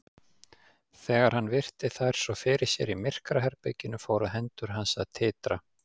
Þegar hann virti þær svo fyrir sér í myrkraherberginu fóru hendur hans að titra.